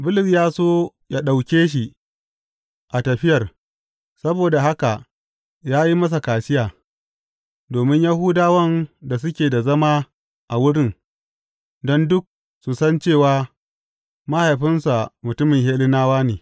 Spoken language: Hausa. Bulus ya so ya ɗauke shi a tafiyar, saboda haka ya yi masa kaciya, domin Yahudawan da suke da zama a wurin, don duk sun san cewa mahaifinsa mutumin Hellenawa ne.